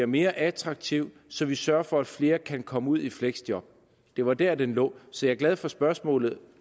mere attraktiv så vi sørger for at flere kan komme ud i fleksjob det var der den lå så jeg er glad for spørgsmålet der